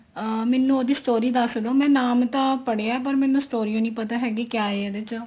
ਅਹ ਮੈਨੂੰ ਉਹਦੀ story ਦੱਸਦੋ ਮੈਂ ਨਾਮ ਤਾਂ ਪੜਿਆ ਏ ਪਰ ਮੈਨੂੰ story ਉਹ ਨਹੀਂ ਪਤਾ ਹੈਗੀ ਕਿਆ ਹੈ ਇਹਦੇ ਵਿੱਚ